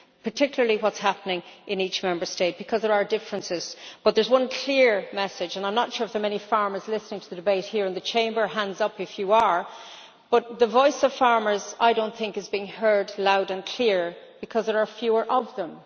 particularly what is happening in each Member State, because of our differences. But there is one clear message, and I am not sure whether many farmers are listening to the debate here in the Chamber hands up if you are but that is that the voice of farmers is, I think, not being heard loud and clear, because there are fewer of them.